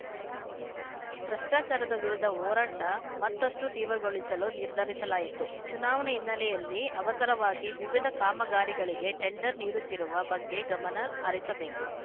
ಭ್ರಷ್ಟಾಚಾರದ ವಿರುದ್ಧ ಹೋರಾಟ ಮತ್ತಷ್ಟುತೀವ್ರಗೊಳಿಸಲು ನಿರ್ಧರಿಸಲಾಯಿತು ಚುನಾವಣೆ ಹಿನ್ನೆಲೆಯಲ್ಲಿ ಅವಸರವಾಗಿ ವಿವಿಧ ಕಾಮಗಾರಿಗಳಿಗೆ ಟೆಂಡರ್‌ ನೀಡುತ್ತಿರುವ ಬಗ್ಗೆ ಗಮನ ಹರಿಸಬೇಕು